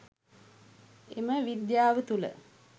එම විද්‍යාව තුළ